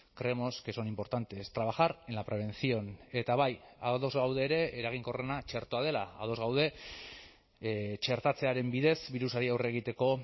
creemos que son importantes trabajar en la prevención eta bai ados gaude ere eraginkorrena txertoa dela ados gaude txertatzearen bidez birusari aurre egiteko